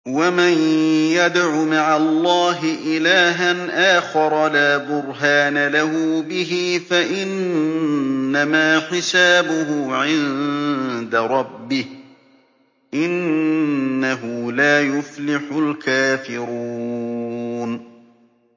وَمَن يَدْعُ مَعَ اللَّهِ إِلَٰهًا آخَرَ لَا بُرْهَانَ لَهُ بِهِ فَإِنَّمَا حِسَابُهُ عِندَ رَبِّهِ ۚ إِنَّهُ لَا يُفْلِحُ الْكَافِرُونَ